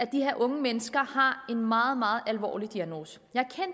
de her unge mennesker har en meget meget alvorlig diagnose jeg